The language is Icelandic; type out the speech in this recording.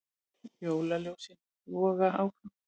Jólaljósin logi áfram